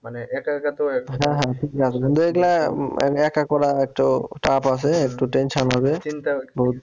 মানে একা করা একটু tough আছে একটু tension হবে